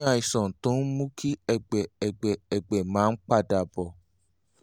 o ní àìsàn tó ń mú kí ẹ̀gbẹ́ ẹ̀gbẹ́ ẹ̀gbẹ́ máa ń padà bọ̀